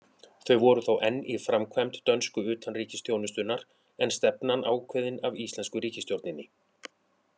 Þau voru þó enn í framkvæmd dönsku utanríkisþjónustunnar, en stefnan ákveðin af íslensku ríkisstjórninni.